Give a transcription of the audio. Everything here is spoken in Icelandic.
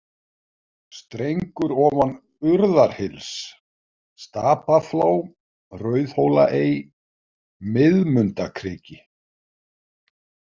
Strengur ofan Urðarhyls, Stapaflá, Rauðhólaey, Miðmundakriki